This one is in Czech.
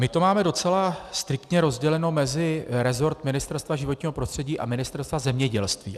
My to máme docela striktně rozděleno mezi rezort Ministerstva životního prostředí a Ministerstva zemědělství.